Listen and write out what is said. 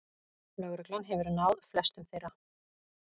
Lögregla hefur náð flestum þeirra